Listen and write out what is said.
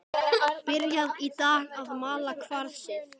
Byrjað í dag að mala kvarsið.